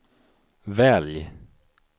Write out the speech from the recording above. välj